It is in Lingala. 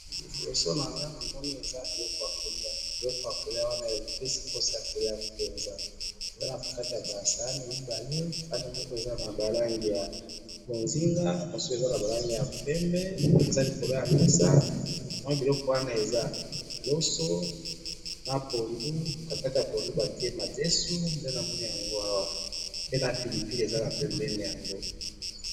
liboso nanga eza biloko ya koliya biloko ya koliya waepesi sango ya koliya penza eza nakati ya basahani mibale sahani moko eza na balangi ya mbozinga na mosusu eza ya pembe eza likolo ya mesa mwa biloko wana eza loso na poundou katikati ya poundou batiye madesou nde namoni yango awa pe na pilipili eza penenbeni yango